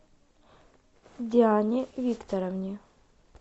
диане викторовне